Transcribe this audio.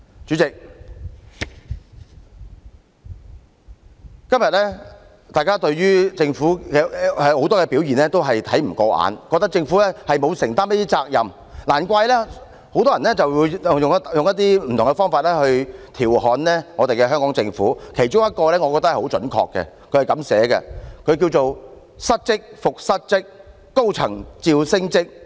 主席，今天大家對於政府很多表現也看不過眼，覺得政府沒有承擔責任，難怪很多人用不同方法來調侃香港政府，我覺得其中一個描述是很準確的："失職復失職，高層照升職。